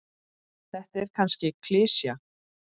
Þetta er kannski klisja.